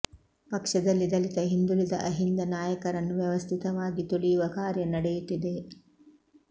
ಪಕ್ಷದಲ್ಲಿ ದಲಿತ ಹಿಂದುಳಿದ ಅಹಿಂದ ನಾಯಕರನ್ನು ವ್ಯವಸ್ಥಿತವಾಗಿ ತುಳಿಯುವ ಕಾರ್ಯ ನಡೆಯುತ್ತಿದೆ